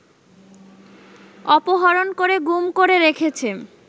অপহরণ করে গুম করে রেখেছে